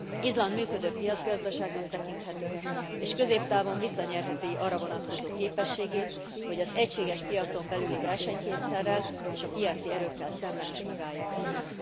Izland működő piacgazdaságnak tekinthető és középtávon visszanyerheti arra vonatkozó képességét, hogy az egységes piacon belüli versenykényszerrel és a piaci erőkkel szemben is megállja a helyét.